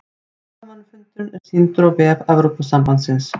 Blaðamannafundurinn er sýndur á vef Evrópusambandsins